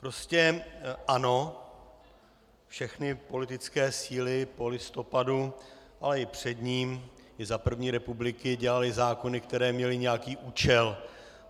Prostě ano, všechny politické síly po listopadu, ale i před ním, i za první republiky, dělaly zákony, které měly nějaký účel.